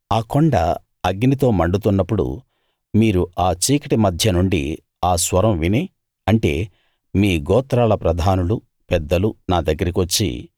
ఆ కొండ అగ్నితో మండుతున్నప్పుడు మీరు ఆ చీకటి మధ్య నుండి ఆ స్వరం విని అంటే మీ గోత్రాల ప్రధానులు పెద్దలు నా దగ్గరికి వచ్చి